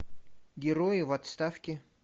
герои в отставке